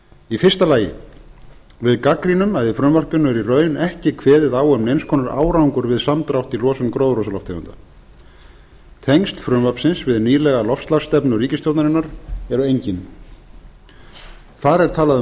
í fyrsta lagi við gagnrýnum að í frumvarpinu er í raun ekki kveðið á um neins konar árangur við samdrátt í losun gróðurhúsalofttegunda tengsl frumvarpsins við nýlega loftslagsstefnu ríkisstjórnarinnar eru engin þar er talað um